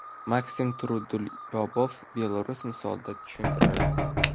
Maksim Trudolyubov Belarus misolida tushuntiradi.